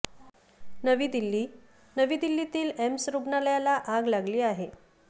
नवी दिल्ली नवी दिल्लीतील एम्स रुग्णालयाला आग लागली आहे